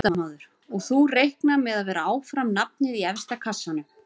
Fréttamaður: Og þú reiknar með að vera áfram nafnið í efsta kassanum?